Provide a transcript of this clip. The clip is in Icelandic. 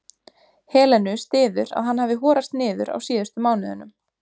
Helenu styður að hann hafi horast niður á síðustu mánuðunum.